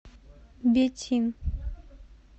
бетин